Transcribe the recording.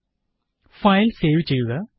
001105 001104 file save ചെയ്യുക